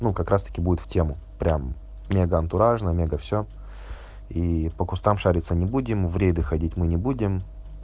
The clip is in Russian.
ну как раз-таки будет в тему прям мега антуражное мега всё и по кустам шариться не будем в рейды ходить мы не будем